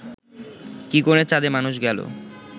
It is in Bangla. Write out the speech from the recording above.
কি করে চাঁদে মানুষ গেল